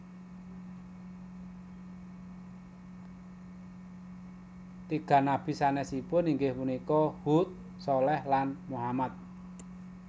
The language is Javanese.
Tiga nabi sanesipun inggih punika Hud Shaleh lan Muhammad